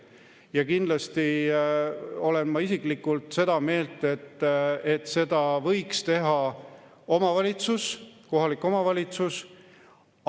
Ja kindlasti olen ma isiklikult seda meelt, et seda võiks teha omavalitsus, kohalik omavalitsus.